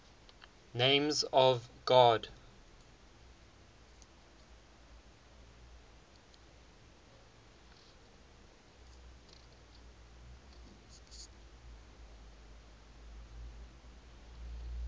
names of god